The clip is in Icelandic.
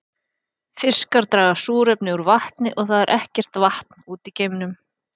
Fiskar draga súrefni úr vatni og það er ekkert vatn úti í geimnum.